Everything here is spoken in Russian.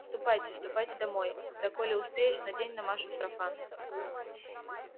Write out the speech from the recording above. ступайте ступайте домой да коли успеешь надень на машу сарафан